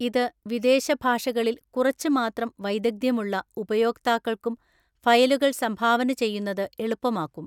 ഇത് വിദേശ ഭാഷകളിൽ കുറച്ച് മാത്രം വൈദഗ്ധ്യമുള്ള ഉപയോക്താക്കൾക്കും ഫയലുകൾ സംഭാവന ചെയ്യുന്നത് എളുപ്പമാക്കും.